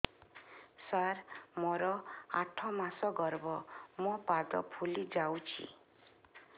ସାର ମୋର ଆଠ ମାସ ଗର୍ଭ ମୋ ପାଦ ଫୁଲିଯାଉଛି